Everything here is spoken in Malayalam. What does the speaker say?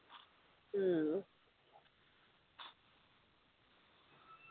ഉം